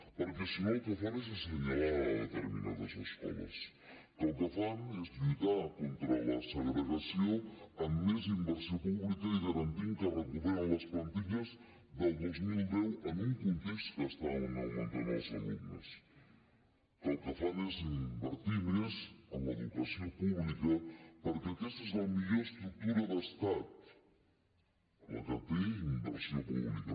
perquè si no el que fan és senyalar determinades escoles que el que fan és lluitar contra la segregació amb més inversió pública i garantint que recuperen les plantilles del dos mil deu en un context que estan augmentant els alumnes que el que fan és invertir més en l’educació pública perquè aquesta és la millor estructura d’estat la que té inversió pública